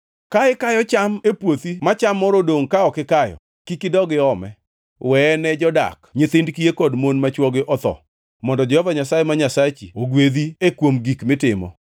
Ka ikayo cham e puothi ma cham moro odongʼni ka ok ikayo, to kik idog iome. Weye ne jodak, nyithind kiye kod mon ma chwogi otho, mondo Jehova Nyasaye ma Nyasachi ogwedhi e kuom gik mitimo.